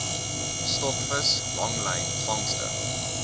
stokvis langlyn vangste